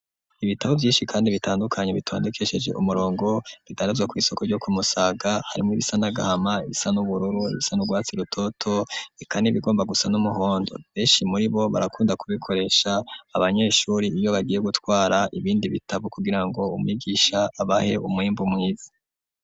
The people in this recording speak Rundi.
Ibitabo vyishi kandi bitandukanye bitondekesheje ku umurongo bidandazwa kw'isoko ryo ku musaga harimwo ibisa n'agahama ibisa n'ubururu ibisa n'urwatsi rutoto eka n'ibigomba gusa n'umuhondo beshi muribo barakunda ku bikoresha abanyeshuri iyo bagiye gutwara ibindi bitabo kugirango umwigisha abahe umwimbu mwiz.